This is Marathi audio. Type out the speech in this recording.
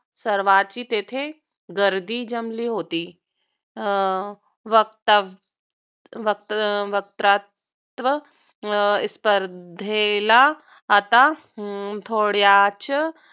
ससर्वांची तेथे गर्दी जमली होती. अं वर्क्तृत्त्व स्पर्धेला आता हम्म थोड्याच